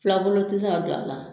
Fulakunu tɛ se ka don a la.